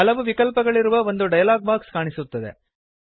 ಹಲವು ವಿಕಲ್ಪಗಳಿರುವ ಒಂದು ಡಯಲಾಗ್ ಬಾಕ್ಸ್ ಕಾಣಿಸುತ್ತದೆ